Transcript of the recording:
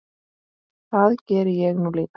Það geri ég nú líka.